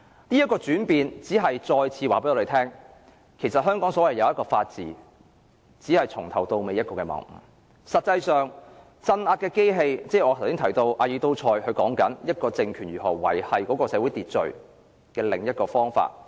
當中的轉變只是再次告訴我們，其實香港所謂的法治，從頭到尾都只是謬誤，實際上政府用的是鎮壓的機器，即我剛才提到阿爾都塞所說，一個政權如何維持社會秩序的另一個方法。